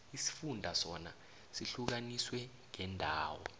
isifunda sona sihlukaniswe ngeendawo